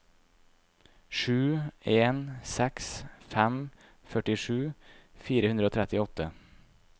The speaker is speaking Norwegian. sju en seks fem førtisju fire hundre og trettiåtte